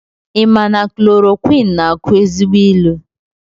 I ma na klorokwinụ na akụ ezigbo ilu?